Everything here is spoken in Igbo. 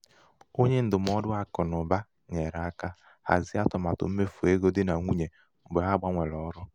onye ndụmọdụ akụnaụba nyere aka hazie atụmatụ mmefu ego dị nà nwunye mgbe ha gbanwere ọrụ.